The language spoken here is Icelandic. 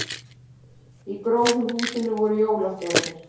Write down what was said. Í gróðurhúsinu voru jólastjörnur